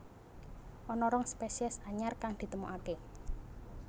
Ana rong spésiés anyar kang ditemokaké